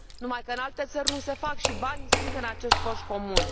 Numai că în alte țări nu se fac, iar banii se află în acest coș comun.